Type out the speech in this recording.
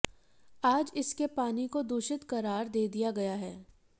आज इसके पानी को दूषित करार दे दिया गया है